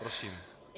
Prosím.